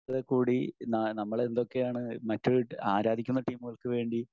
എങ്കിൽ കൂടി ന നമ്മളെന്തൊക്കെയാണ് മറ്റു ആരാധിക്കുന്ന ടീമുകൾക്ക് വേണ്ടി